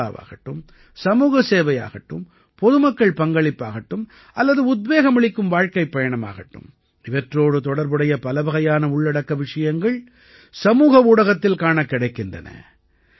சுற்றுலாவாகட்டும் சமூகச் சேவையாகட்டும் பொதுமக்கள் பங்களிப்பாகட்டும் அல்லது உத்வேகமளிக்கும் வாழ்க்கைப் பயணமாகட்டும் இவற்றோடு தொடர்புடைய பலவகையான உள்ளடக்க விஷயங்கள் சமூக ஊடகத்தில் காணக் கிடைக்கின்றன